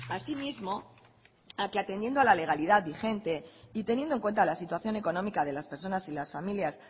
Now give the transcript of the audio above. asimismo a que atendiendo a la legalidad vigente y teniendo en cuenta la situación económica de las personas y las familias